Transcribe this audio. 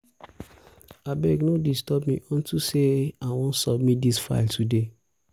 abeg no disturb me unto say i wan submit dis file today